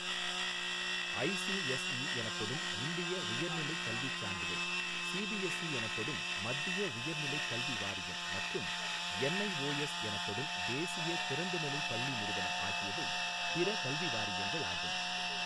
ICSE எனப்படும் இந்திய உயர்நிலைக் கல்வி சான்றிதழ் , சிபிஎஸ்இ எனப்படும் மத்திய உயர்நிலைக் கல்வி வாரியம் மற்றும் என்ஐஒஎஸ் எனப்படும் தேசிய திறந்தநிலைப் பள்ளி நிறுவனம் ஆகியவை பிற கல்வி வாரியங்களாகும்.